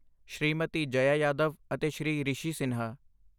ਸ਼੍ਰੀਮਤੀ ਜਯਾ ਜਾਧਵ ਅਤੇ ਸ਼੍ਰੀ ਰਿਸ਼ੀ ਸਿਨਹਾ।